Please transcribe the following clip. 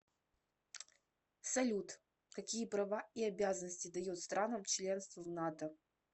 салют какие права и обязанности дает странам членство в нато